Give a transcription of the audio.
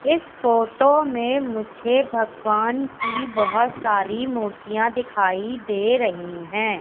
इस फोटो में मुझे भगवान की बहोत सारी मूर्तियां दिखाई दे रही हैं।